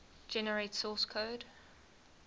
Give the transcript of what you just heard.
generate source code